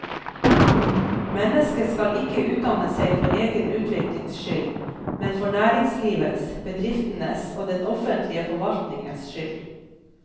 Mennesket skal ikke utdanne seg for egen utviklings skyld, men for næringslivets, bedriftenes og den offentlige forvaltningens skyld.